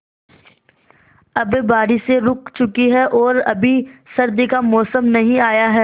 अब बारिशें रुक चुकी हैं और अभी सर्दी का मौसम नहीं आया है